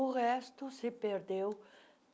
O resto se perdeu.